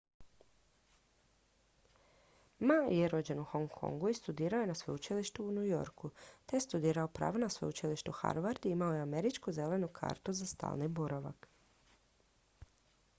"ma je rođen u hong kongu i studirao je na sveučilištu u new yorku te je studirao pravo na sveučilištu harvard i imao je američku "zelenu kartu" za stalni boravak.